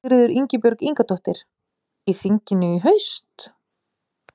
Sigríður Ingibjörg Ingadóttir: Í þinginu í haust?